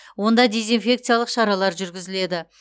онда дезинфекциялық шаралар жүргізіледі